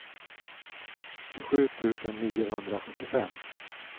tjugosju tusen niohundrasjuttiofem